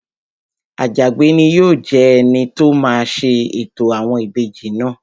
Àjàgbé ni yóò jẹ́ ẹni tó máa ṣe ètò àwọn ìbejì náà